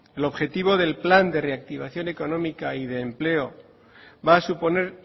el objetivo del plan de reactivación económica y de empleo va a suponer